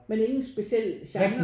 Men ingen speciel genre?